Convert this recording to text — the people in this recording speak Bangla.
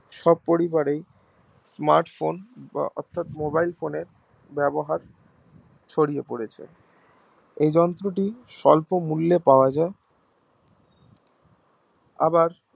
সব পরিবারেই smart phone অর্থাৎ mobile phone এর ব্যবহার ছড়িয়ে পড়েছে এই যন্ত্র টি স্বল্পমূল্যে পাওয়া যাই আবার